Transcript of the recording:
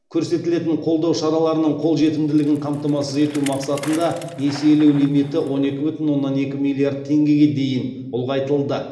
көрсетілетін қолдау шараларының қолжетімділігін қамтамасыз ету мақсатында несиелеу лимиті он екі бүтін оннан екі миллиард теңгеге дейін ұлғайтылды